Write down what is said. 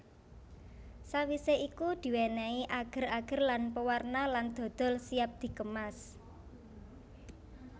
Sawise iku diwenehi ager ager lan pewarna lan dodol siap dikemas